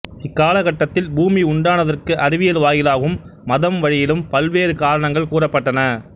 இக்காலகட்டத்தில் பூமி உண்டானதற்கு அறிவியல் வாயிலாகவும் மதம் வழியிலும் பல்வேறு காரணங்கள் கூறப்பட்டன